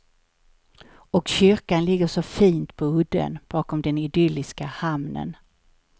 Och kyrkan ligger så fint på udden bakom den idylliska hamnen.